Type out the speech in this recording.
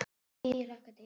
Jú ég hlakka til.